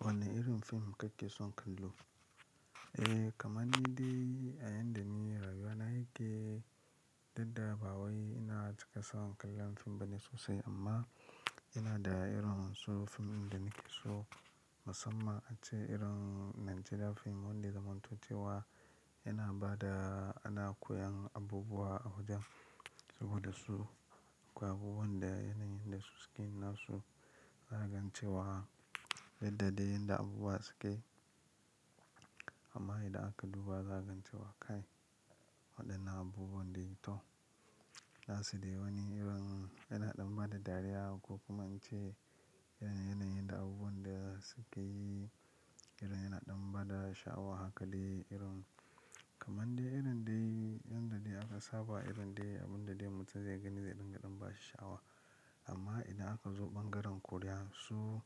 Wane irin fim kake son kallo? Eh kamar ni dai a yanda ni rayuwa na yake duk da ba wai ina cika son kallon fim bane sosai amma ina da irin so fim ɗin da nake so musamman ace irin Najeriya fim wanda ya zamanto cewa yana ba da ana koyan abubuwa a wajen saboda su akwai abubuwan da yanayin da su suke nasu zagance wa. Yadda dai yanda abubuwa suke amma idan aka duba zaka gance wa kai waɗannan abubuwan dai to, nasu dai wani irin yana ɗan ba da dariya ko kuma in ce irin yanayin da abubuwan da suke yi irin yana ɗan ba da sha'awa hakadai irin kamar dai irin dai yanda dai aka saba irin dai abun da dai mutum zai gani zai dinga ɗan bashi sha'awa. Amma idan aka zo ɓangaren Koriya su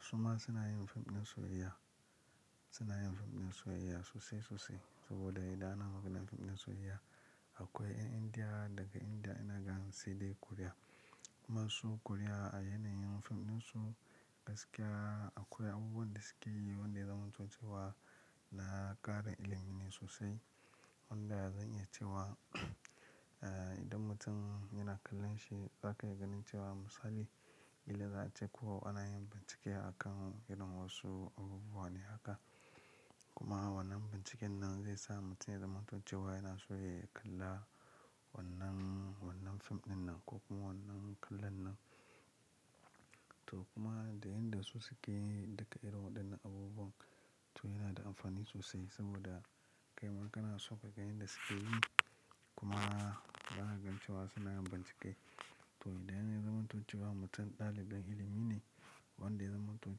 suma suna yin fim ɗin soyayya, suna yin fim ɗin soyayya sosai sosai saboda idan ana buga fim ɗin soyayya akwai 'yan Indiya daga Indiya yana ganin sai dai Koriya. Kuma su Koriya a yanayin fim ɗin su gaskiya akwai abubuwan da suke yi wanda zamanto cewa na ƙara ilimi ne sosai wanda zan iya cewa idan mutum yana kallon shi za ka iya ganin cewa misali ƙila za a ce ko ana yin bincike a kan irin wasu abubuwa ne haka. Kuma wannan binciken nan zai sa mutum ya zamanto cewa yana so ya kalla wannan, wannan fim ɗin nan ko kuma wannan kallon nan. To kuma da yanda su suke yi duka irin waɗannan abubuwan to yana da amfani sosai saboda kai ma kana so ka ga yanda suke yi kuma zaka za cewa suna yin bincike. To idan ya zamanto cewa mutum ɗalibin ilimi ne wanda zamanto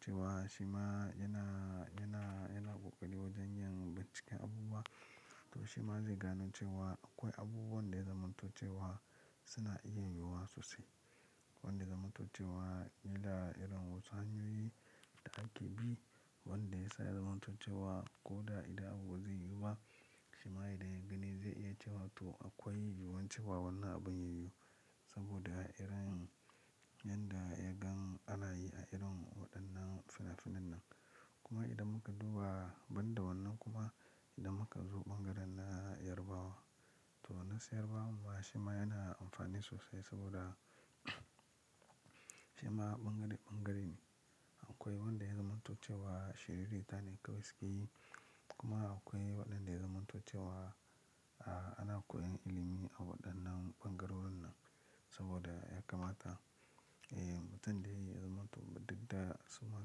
cewa shi ma yana, yana, yana kokari wajen yin binciken abubuwa to shi ma zai gano cewa akwai abuwan da yazaman to cewa suna iya yiwuwa sosai. Wanda ya zamanto cewa yanda irin wasu hanyoyi da ake bi wanda ya sa ya zamanto cewa ko da idan abu ba zai yiwu ba shi ma idan ya gani zai iya cewa to akwai yiwuwan cewa wannan abin ya yiwu saboda irin yan da ya gan anayi a irin waɗannan finafinan nan. Idan mutum yana kallon shi za ka iya ganin cewa misali ƙila za a ce ko ana yin bincike a kan irin wasu abubuwa ne haka. Kuma wannan binciken nan zai sa mutum ya zamanto cewa yana so ya kalla wannan, wannan fim ɗin nan ko kuma wannan kallon nan. Akwai wanda ya zamanto cewa shiririta ne kawai suke yi kuma akwai waɗanda ya zamanto cewa a ana koyan ilimi a waɗannan ɓangarorin nan saboda ya kamata eh mutum da ya zamanto digda suma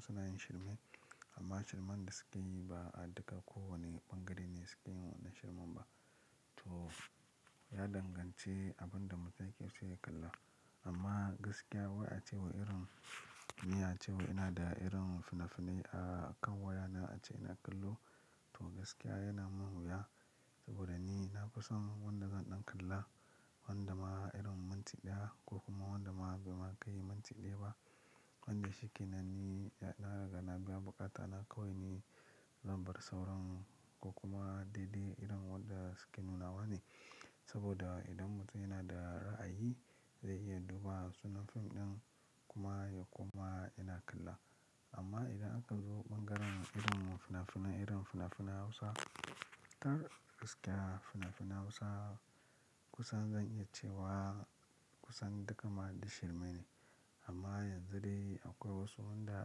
suna yin shirme amma shirman da suke yi ba a daga ko wane ɓangare ne suke yin wannan shirman ba. To ya dangance abin da mutum yake so ya kalla amma gaskiya wai acewai irin ni acewai ina da irin fina fainai akan wayana ace ina kallo to gaskiya yana man wuya saboda ni nafison wanda zan dan kalla wanda ma irin minnti daya kokuma ba ma kai minti daya ba wanda shikenan da na biya bukatana zan bar sauran kokuma daidai irin wanda suke nunawane saboda idan mutum yana da raayi zai iya duba sunan film din kuma yakoma yana kalla amman idan aka zo irin bangaren fina finan hausa gaskiya fina finan hausa kusan zan iya cewa kusan duka ma duk shirme ne amma yanzu dai akwai wanda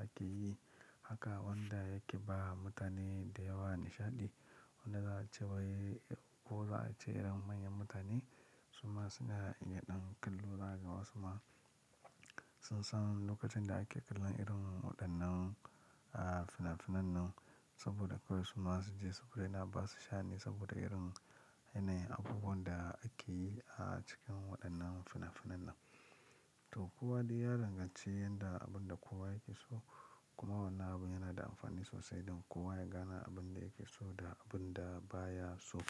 akeyi haka wanda yake ba mutane dayawa nishadi ko za a cewai ko za a ce irin manyan mutane suma suna iya dan kallo zakaga wasu ma sun san lokacin da ake kallon irin wadanan a fina finan nan saboda kawai suma su je yana basu sha'ani saboda irin yanayin abubuwan da akeyi a cikin wadannan finafinan to kowa dai ya dangance yanda abun da kowa yake so kuma wannan abun yana da amfani sossai dan kowa yagane abun da yake so da abun da bayaso.